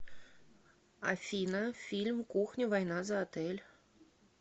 афина фильм кухня война за отель